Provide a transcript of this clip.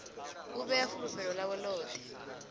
u vhea fulufhelo ḽawe ḽoṱhe